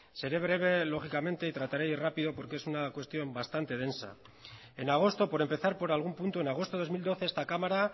seré breve lógicamente y trataré de ir rápido porque es una cuestión bastante densa en agosto por empezar por algún punto en agosto del dos mil doce esta cámara